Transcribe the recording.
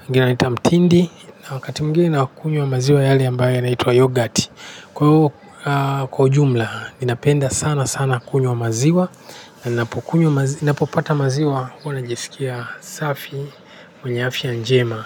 wengine wanaita mtindi na wakati mwingine nakunywa maziwa yale ambayo yanaitwa yoghurt. Kwa hiyo, kwa ujumla ninapenda sana sana kunywa maziwa na ninapokunywa ninapopata maziwa huwa najisikia safi mwenye afya njema.